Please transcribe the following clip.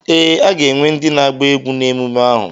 Ee, a ga-enwe ndị na-agba egwú na ememme ahụ.